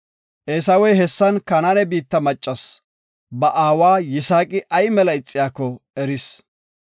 Eesawey hessan Kanaane biitta maccas ba aawa Yisaaqi ay mela ixiyako eris.